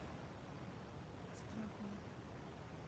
страхову